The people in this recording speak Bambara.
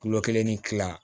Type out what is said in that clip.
Kulo kelen ni kila